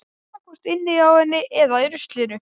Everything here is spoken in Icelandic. Annaðhvort inni hjá henni eða í ruslinu.